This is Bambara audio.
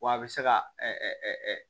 Wa a bɛ se ka